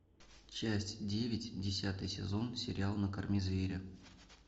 часть девять десятый сезон сериал накорми зверя